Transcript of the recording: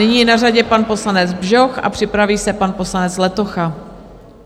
Nyní je na řadě pan poslanec Bžoch a připraví se pan poslanec Letocha.